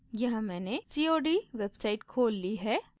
यहाँ मैंने cod website खोल ली है